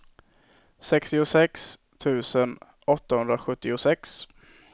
sextiosex tusen åttahundrasjuttiosex